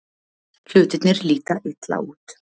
Hlutirnir líta illa út